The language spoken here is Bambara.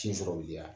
Sin sɔrɔbaliya